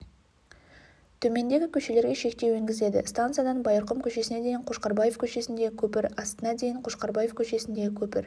төмендегі көшелерге шектеу енгізіледі станциядан байырқұм көшесіне дейін қошқарбаев көшесіндегі көпір астына дейін қошқарбаев көшесіндегі көпір